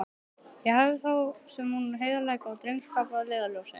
Ég hafði þá sem nú heiðarleika og drengskap að leiðarljósi.